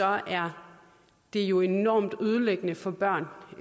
er det jo enormt ødelæggende for børn